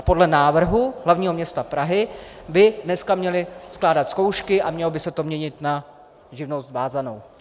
A podle návrhu hlavního města Prahy by dneska měli skládat zkoušky a mělo by se to měnit na živnost vázanou.